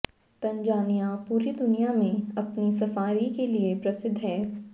Tanzania पूरी दुनिया में अपनी सफारी के लिए प्रसिद्ध है